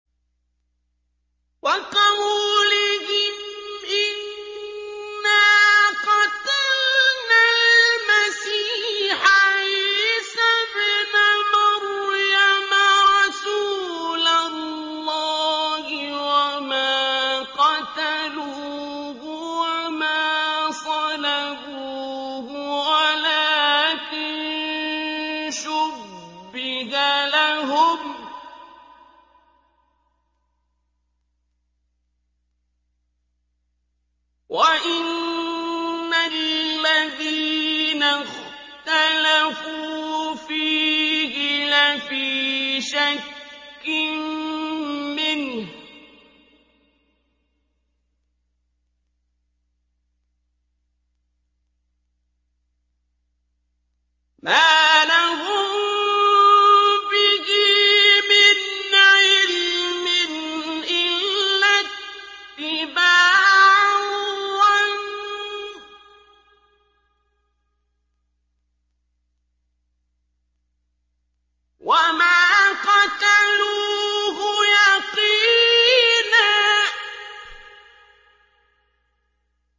وَقَوْلِهِمْ إِنَّا قَتَلْنَا الْمَسِيحَ عِيسَى ابْنَ مَرْيَمَ رَسُولَ اللَّهِ وَمَا قَتَلُوهُ وَمَا صَلَبُوهُ وَلَٰكِن شُبِّهَ لَهُمْ ۚ وَإِنَّ الَّذِينَ اخْتَلَفُوا فِيهِ لَفِي شَكٍّ مِّنْهُ ۚ مَا لَهُم بِهِ مِنْ عِلْمٍ إِلَّا اتِّبَاعَ الظَّنِّ ۚ وَمَا قَتَلُوهُ يَقِينًا